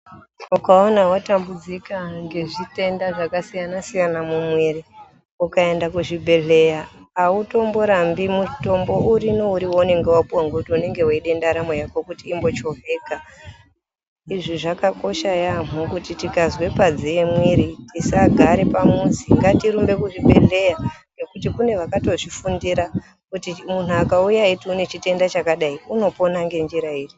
Ukaona watambudzika ngezvitenda zvakasiyana siyana mumwiri, ukaenda kuzvibhedhleya hautomborambi mutombo uriniwo waunonga wapiwa unenge weide ndaramo yako kuti imbochovheka. Izvi zvakakosha yaamho kuti tikazwe padziye mwiri tisagare pamuzi, ngatirumbe kuzvibhedhleya nekuti kune vakatozvifundira kuti munhu ukauya eyiti une chitenda chakadai unopona ngenjira iri.